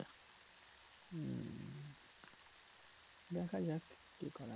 দেখা যাক কি করা যায়